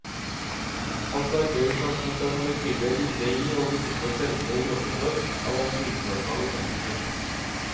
Hans arbeid med transport av molekyler inne i og innenfor cellene i kroppen vår, har vakt internasjonal oppmerksomhet.